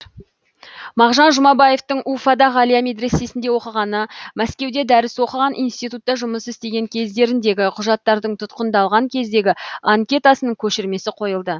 мағжан жұмабаевтың уфада ғалия медресесінде оқығаны мәскеуде дәріс оқыған институтта жұмыс істеген кездеріндегі құжаттардың тұтқындалған кездегі анкетасының көшірмесі қойылды